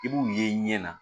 I b'u ye i ɲɛ na